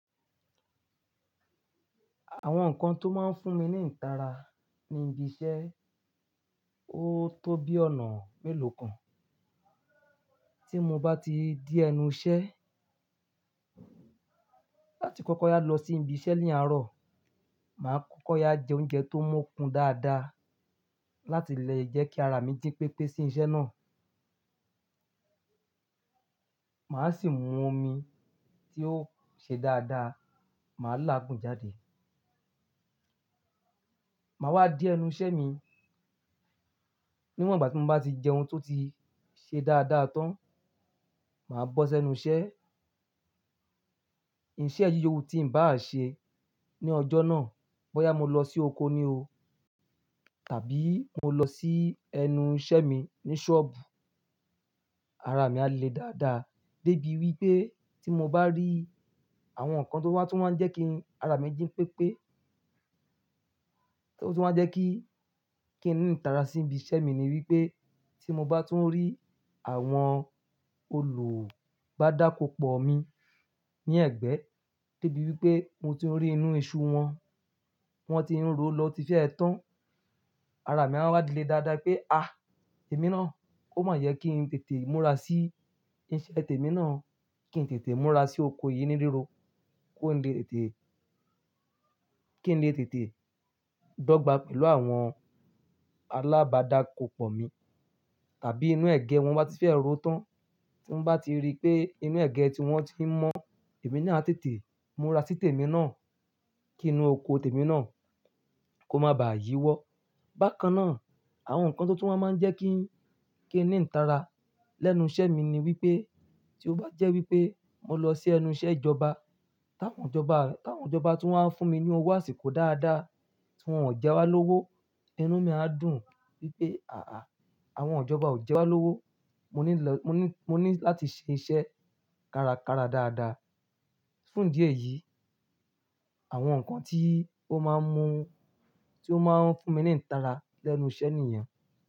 Àwọn nǹkan tó máa ń fún mi ní ìtara ní ibi iṣẹ́, ó tó bí ọ̀nà mélòkan tí mo báà ti dé ẹnu iṣẹ́ àti kọ́kọ́ yá lọ sí ibi iṣẹ́ ní àárọ̀, màá kọ́kọ́ yá jẹ oúnjẹ tó mọ́kùn dáadáa láti lè jẹ́ kí ara mi jí pépé sí iṣẹ́ náà. Màá sì mú omi tí ó ṣe dáadáa, màá láàgún jáde. Màá wá dé ẹnu iṣẹ́ mi, níwọ̀n ìgbà ti mo bá ti jẹun tó ti ṣe dáadáa tán, màá bọ́ sẹnu iṣẹ́. Iṣẹ́ yíyo wu tí n bá à ṣe ní ọjọ́ náà, bọ́ yá mo lọ sí oko ni o, tàbí mo lọ sí ẹnu iṣẹ́ mi ní ṣọ́ọ̀bù, ara mi alè dáadáa dé bí wípé tí mo bá rí àwọn nǹkan tó wà tún wá jẹ́ kí ara mi jí pépé, tó tún wá jẹ́ kí, kí n ní ìtara sí ibi iṣẹ́ mi ni wípé tí mo bá tún rí àwọn olubapòpó mi ní ẹ̀gbẹ́, débi wípé mo ti ń rí inú iṣu wọn, wọ́n ti ń ro lọ ti fẹ́ ẹ tán, ara mi a wá le dáadáa pé èmi ná, ò má yẹ kí n tètè múra sí iṣẹ́ tèmi náà, kí n tètè múra sí oko yìí níríro, kó lè tètè, kí n lè tètè dọ́gba pẹ̀lú àwọn alábàdá kòpọ̀ mi. Tàbí inú ẹ̀gẹ́ wọn bá ti fẹ́ ro tán, tí mo bá ti rí pé inú ẹ̀gẹ́ tí wọ́n ti ń mọ, èmi ni a tètè múra sí tèmi náà, kí inú oko tèmi náà kó má ba à yíwọ́. Bákan náà, àwọn nǹkan tó tún wa máa ń jẹ́ kí, kí n ní ìtara lẹ́nu iṣẹ́ mi ni wípé tí ó bá jẹ́ wípé mo lọ sí ẹnu iṣẹ́ ìjọba, táwọn ìjọba, táwọn ìjọba tún wá ń fún mi ní owó àsìkò dáadáa, tí wọ́n ò jẹ wá lówó, inú mi á dùn wípé, àwọn ìjọba ò jẹ wá lówó, mo ní lọ, mo ní, mo ní láti ṣe iṣẹ́ kárakára dáadáa. Fún ìdí ẹ̀yìí, àwọn nǹkan tí ó máa ń mú, tí ó máa ń fún mi ní ìtara lẹ́nu iṣẹ́ nìyen.